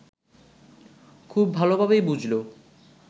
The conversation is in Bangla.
খুব ভালোভাবেই বুঝল